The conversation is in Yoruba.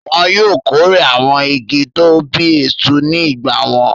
Wọn yóò kórè àwọn igi tó ń bí èso ní ìgbà wọn.